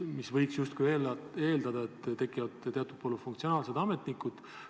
Võiks justkui eeldada, et tekivad sellised polüfunktsionaalsed ametnikud.